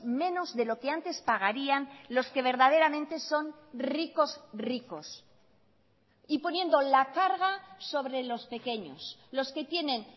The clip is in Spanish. menos de lo que antes pagarían los que verdaderamente son ricos ricos y poniendo la carga sobre los pequeños los que tienen